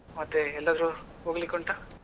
ಮತ್ತೆ ಎಲ್ಲಾದ್ರೂ ಹೋಗ್ಲಿಕ್ಕೆ ಉಂಟಾ?